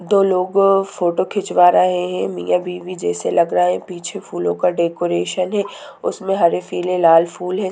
दो लोग फोटो खिचवा रहे हैं | मियाँ बीवी जैसे लग रहे हैं | पीछे फूलो का डेकोरेशन है उसमें हरे पीले लाल फूल हैं ।